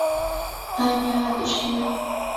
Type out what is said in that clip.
аня адушкина